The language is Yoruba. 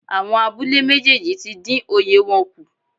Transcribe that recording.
Àwọn abúlé méjèèjì tí dín oye wọn kù.